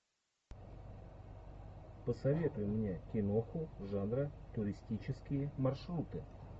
посоветуй мне киноху жанра туристические маршруты